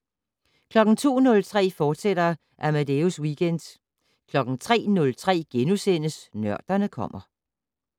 02:03: Amadeus Weekend, fortsat 03:03: Nørderne kommer *